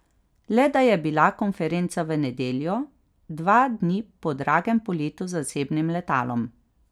Le da je bila konferenca v nedeljo, dva dni po dragem poletu z zasebnim letalom.